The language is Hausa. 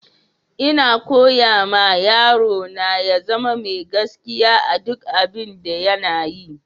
Ina koyar ma yaro na ya zama mai gaskiya a duƙ abin da yana yi.